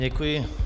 Děkuji.